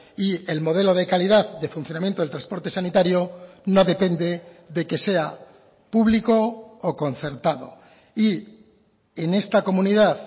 y el modelo de calidad de funcionamiento del transporte sanitario no depende de que sea público o concertado y en esta comunidad